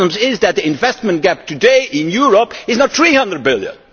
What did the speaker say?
The problem is that the investment gap today in Europe is not EUR 300 billion.